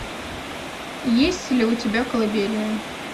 есть ли у тебя колыбельная